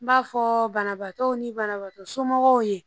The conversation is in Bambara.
N b'a fɔ banabaatɔw ni banabaatɔ somɔgɔw ye